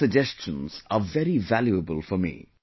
These suggestions are very valuable for me